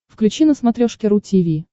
включи на смотрешке ру ти ви